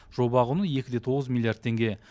жоба құны екі де тоғыз миллиард теңге